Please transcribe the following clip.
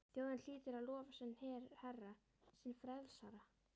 Þjóðin hlýtur að lofa sinn herra, sinn frelsara!